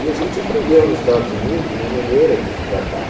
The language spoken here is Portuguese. E a gente aprendeu, nos Estados Unidos, uma maneira de tratar.